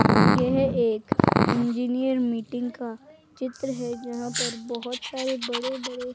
यह एक engineer meeting का चित्र है जहां पर बहोत सारे बड़े बड़े--